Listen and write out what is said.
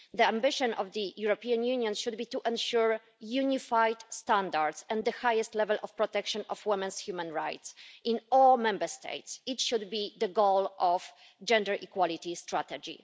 The ambition of the European Union should be to ensure unified standards and the highest level of protection of women's human rights in all Member States. It should be the goal of Gender Equality Strategy.